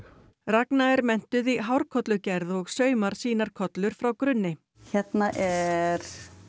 ragna er menntuð í hárkollugerð og saumar sínar kollur frá grunni hérna er